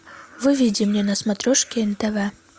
выведи мне на смотрешке нтв